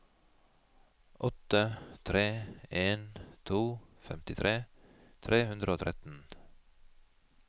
åtte tre en to femtitre tre hundre og tretten